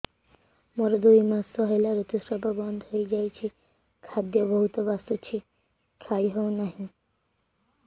ମୋର ଦୁଇ ମାସ ହେଲା ଋତୁ ସ୍ରାବ ବନ୍ଦ ହେଇଯାଇଛି ଖାଦ୍ୟ ବହୁତ ବାସୁଛି ଖାଇ ହଉ ନାହିଁ